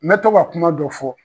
Mɛ to ka kuma dɔ fɔ